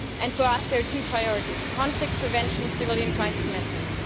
For us, there are two priorities conflict prevention and civilian crisis management.